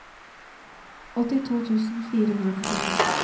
åttito tusen fire hundre og nittito